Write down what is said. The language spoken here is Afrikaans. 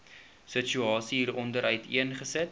situasie hieronder uiteengesit